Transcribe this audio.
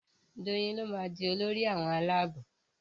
Doyin ló má dì Olórí àwọn Àlàabò.